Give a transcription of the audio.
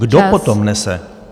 Kdo potom nese?